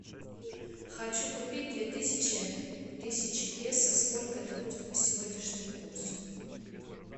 хочу купить две тысячи тысячи песо сколько это будет по сегодняшнему курсу